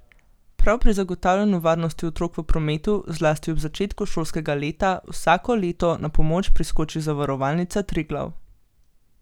Prav pri zagotavljanju varnosti otrok v prometu, zlasti ob začetku šolskega leta, vsako leto na pomoč priskoči Zavarovalnica Triglav.